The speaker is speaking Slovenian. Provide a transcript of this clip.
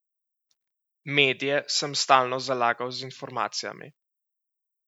Medije sem stalno zalagal z informacijami.